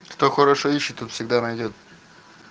что хорошо ищет тот всегда найдёт